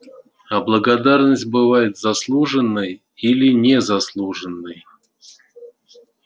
а благодарность бывает заслуженной или незаслуженной